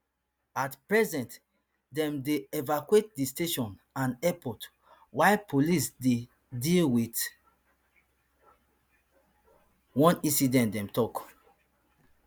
at present dem dey evacuate di station and airport while police dey deal with one incident dem tok